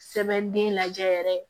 Sɛbɛn den lajɛ yɛrɛ